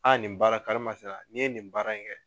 nin baara karima sina n'i ye nin baara in kɛ.